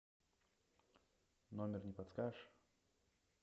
номер не подскажешь